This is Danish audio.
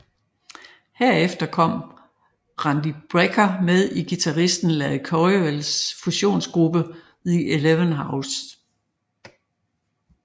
Herefter kom Randy Brecker med i guitaristen Larry Coryells fusionsgruppe The Eleventh House